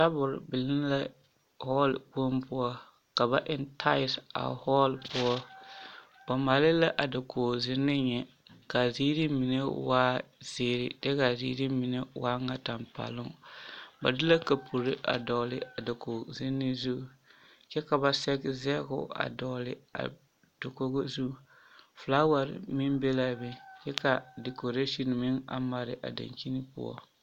Tabol biŋ la hɔɔle kpoŋ poɔ ka ba eŋ tayilisi a hɔɔle poɔ, ba maale la a dakogi zenne nyɛ k'a ziiri mine waa zeere kyɛ k'a ziiri mine waa ŋa tampɛloŋ, ba de la kapuri dɔgele a dakogi zenne zu kyɛ ka ba sɛge sɛgeo a dɔgele a dakogo zu, fekaaware meŋ be l'a be kyɛ ka dikoreesin meŋ a mare a dankyini poɔ.